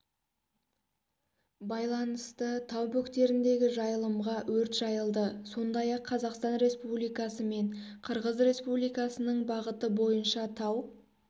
байланысты тау бөктеріндегі жайылымға өрт жайылды сондай-ақ қазақстан республикасы мен қырғыз республикасының бағыты бойынша тау